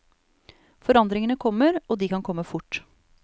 Forandringene kommer, og de kan komme fort.